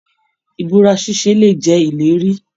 Ibúra ṣiṣe lè jẹ ìlérí.